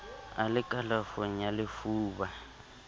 a le kalafong ya lefuba